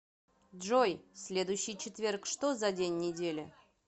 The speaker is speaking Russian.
джой следующий четверг что за день недели